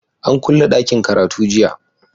An kulle ɗakin karatu jiya.